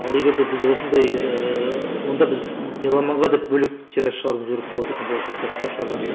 ал егер де біз осындай ііі онда біз меломанға деп бөлек тираж шығаруымыз керек болады екен болашақта кітап шығарған кезде